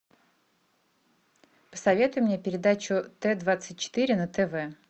посоветуй мне передачу т двадцать четыре на тв